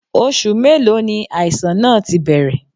Oṣù mélòó ni àìsàn náà ti bẹ̀rẹ̀?